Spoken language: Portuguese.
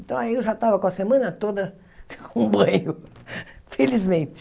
Então aí eu já estava com a semana toda com banho, felizmente.